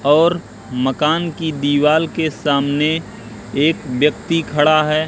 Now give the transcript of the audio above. और मकान की दीवाल के सामने एक व्यक्ति खड़ा है।